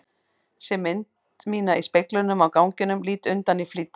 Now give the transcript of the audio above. Sé mynd mína í speglinum á ganginum, lít undan í flýti.